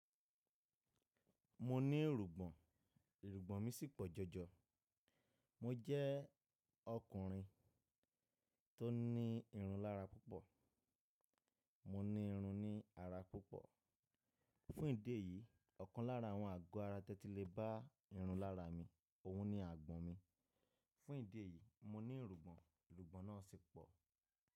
Mo ní èrògbọ̀n, èrògbọ̀n mi sì pọ̀ jọjọ. Mo jẹ́ ọkùnrin tó ní irun lára púpọ̀. Mo ní irun ní ara púpọ̀. Fún ìdí èyí, ọ̀kan lára àwọn àgọ́ ara tẹ́tí lè bá irun lára mi, òhun ni àgbọ̀n mi. Fún ìdí èyí, mo ní èrògbọ̀n, èrògbọ̀n náà sì pọ̀.